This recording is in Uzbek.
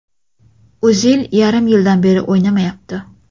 O‘zil yarim yildan beri o‘ynamayapti.